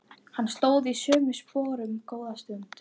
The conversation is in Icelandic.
Hann stóð í sömu sporunum góða stund.